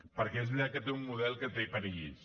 perquè és veritat que té un model que té perills